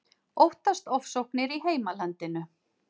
Óttast ofsóknir í heimalandinu